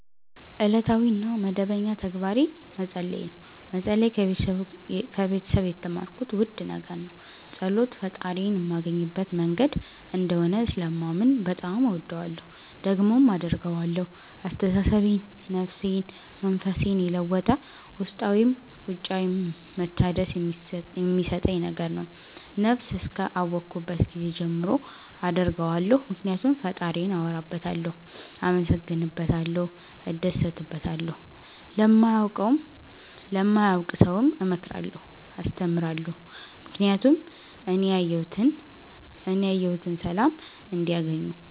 እለታዊ እና መደበኛ ተግባሬ መፀለይ ነው። መፀለይ ከቤተሰብ የተማርኩት ውድ ነገር ነው። ፀሎት ፈጣሪዬን ማገኝበት መንገድ እንደሆነ ስለማምን በጣም እወደዋለሁ። ደግሞም አደርገዋለሁ አስተሳሰቤን፣ ነፍሴን፣ መንፈሴን የለወጠ ውስጣዊም ውጫዊም መታደስ የሚሠጠኝ ነገር ነው። ነብስ እስከ አወኩባት ጊዜ ጀምሮ አደርገዋለሁ ምክኒያቱም ፈጣሪዬን አወራበታለሁ፣ አመሠግንበታለሁ፣ እደሠትበታለሁ። ለማያውቅ ሠውም እመክራለሁ አስተምራለሁ ምክኒያቱም እኔ ያየሁትን ሠላም እንዲያገኙ